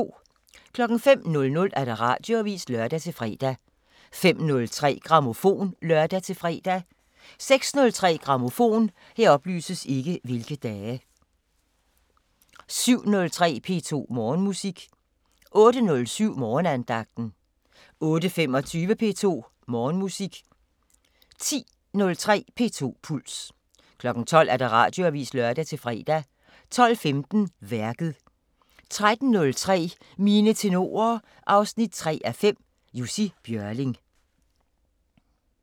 05:00: Radioavisen (lør-fre) 05:03: Grammofon (lør-fre) 06:03: Grammofon 07:03: P2 Morgenmusik 08:07: Morgenandagten 08:25: P2 Morgenmusik 10:03: P2 Puls 12:00: Radioavisen (lør-fre) 12:15: Værket 13:03: Mine tenorer 3:5 – Jussi Björling